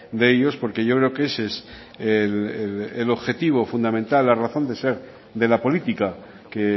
de ellos porque yo creo que ese es el objetivo fundamental la razón de ser de la política que